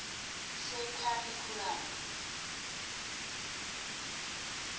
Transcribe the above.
sekharikhyulamu